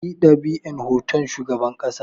Kar ku yi ɗab'in hoton shugaban ƙasa!